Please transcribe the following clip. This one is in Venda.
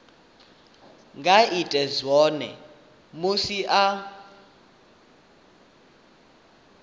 nga ita zwone musi a